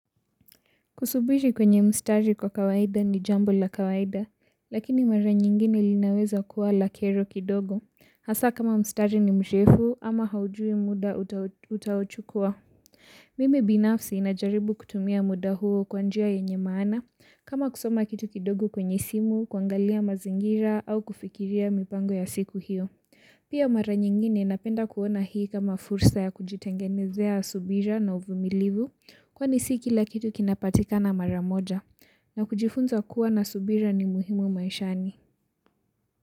Kusubiri kwenye mstari kwa kawaida ni jambo la kawaida, lakini mara nyingine linaweza kuwa la kero kidogo. Hasa kama mstari ni mrefu ama haujui muda utakao chukua mimi binafsi najaribu kutumia muda huo kwa njia yenye maana, kama kusoma kitu kidogo kwenye simu, kuangalia mazingira au kufikiria mipango ya siku hiyo. Pia mara nyingine napenda kuona hii kama fursa ya kujitengenezea subira na uvumilivu kwani si kila kitu kinapatikana mara moja na kujifunza kuwa na subira ni muhimu maishani.